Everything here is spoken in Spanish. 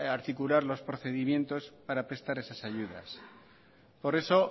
articular los procedimientos para prestar esas ayudas por eso